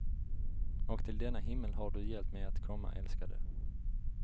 Och till denna himmel har du hjälpt mig att komma, älskade.